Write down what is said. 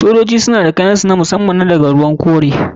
Sojoji suna da kayan su na musamman kalar ruwan kore.